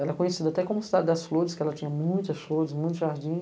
Ela é conhecida até como cidade das flores, porque ela tinha muitas flores, muito jardim.